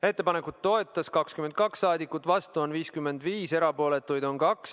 Ettepanekut toetas 22 rahvasaadikut, vastuolijaid oli 55 ja erapooletuid 2.